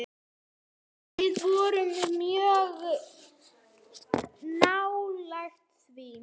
Við vorum mjög nálægt því.